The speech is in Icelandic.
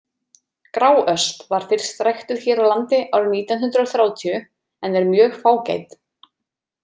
Gráösp var fyrst ræktuð hér á landi árið nítján hundrað þrjátíu en er mjög fágæt.